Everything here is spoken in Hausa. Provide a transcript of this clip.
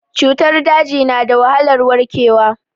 Cutar daji na da wahalar warkewa.